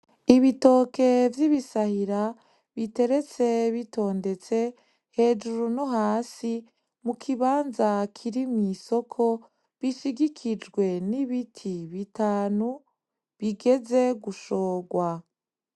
Ibitoke vyibisahira biteretse bitondetse hejuru no hasi mukibanza kiri mwisoko bishigikijwe nibiti bitanu bigeze gushogwa.